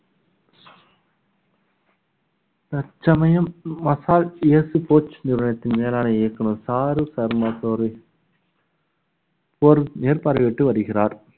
தற்சமயம் massage coach நிறுவனத்தின் மேலான இயக்குனர் ஷாருக் ஷர்மா மேற்~ மேற்பார்வையிட்டு வருகிறார்